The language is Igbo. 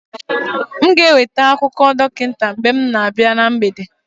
m ga-eweta akụkọ dọkịta mgbe m na-abịa na mgbede